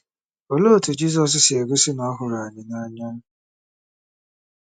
Olee otú Jizọs si gosi na ọ hụrụ anyị n’anya?